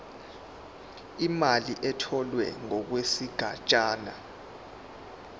imali etholwe ngokwesigatshana